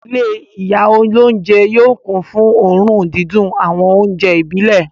Ilé ìyá olóúnjẹ yóò kún fún òórùn dídùn àwọn oúnjẹ ìbílẹ̀.